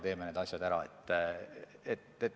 Teeme need asjad ära!